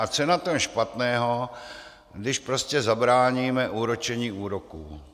A co je na tom špatného, když prostě zabráníme úročení úroků?